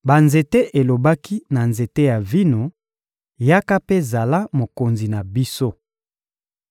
Banzete elobaki na nzete ya vino: ‹Yaka mpe zala mokonzi na biso.›